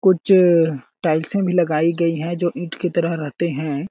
कुछ टाइल्से भी लगाई गई है जो ईंट की तरह रहते हैं।